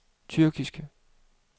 tyrkiske